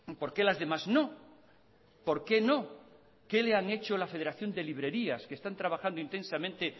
por qué las demás no por qué no qué le han hecho la federación de librerías que están trabajando intensamente